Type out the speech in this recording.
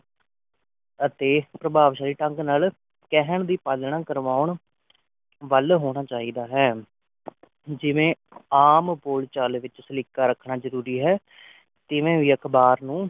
ਅਤੇ ਪ੍ਰਭਾਵ ਸਾਲੀ ਢੰਗ ਨਾਲ ਕਹਿਣ ਦੀ ਪਾਲਣਾ ਕਰਵਾਉਣ ਵੱਲ ਹੋਣਾ ਚਾਹੀਦਾ ਹੈ ਜਿਵੇ ਆਮ ਬੋਲ-ਚਾਲ ਵਿਚ ਸਲਿਖਾ ਰੱਖਣਾ ਜਰੂਰੀ ਹੈ ਤਿਵੈ ਵੀ ਅਕਬਾਰ ਨੂੰ